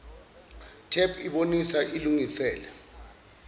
tep ibonisa ilungiselele